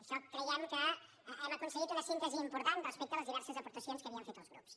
això creiem que hem aconseguit una síntesi important respecte a les diverses aportacions que havien fet els grups